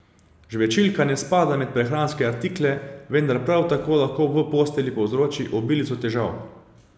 Žvečilka ne spada med prehranske artikle, vendar prav tako lahko v postelji povzroči obilico težav.